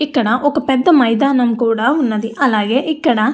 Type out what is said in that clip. ఇక్కడ ఒక పెద్ద మైదానము కూడా ఉన్నది. అలాగే ఇక్కడ --